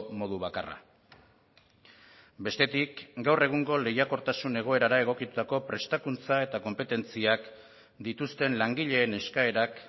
modu bakarra bestetik gaur egungo lehiakortasun egoerara egokitutako prestakuntza eta konpetentziak dituzten langileen eskaerak